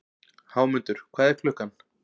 Hámundur, hvað er klukkan?